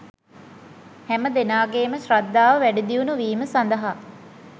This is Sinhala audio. හැම දෙනාගේම ශ්‍රද්ධාව වැඩිදියුණු වීම සඳහා